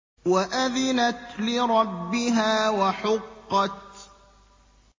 وَأَذِنَتْ لِرَبِّهَا وَحُقَّتْ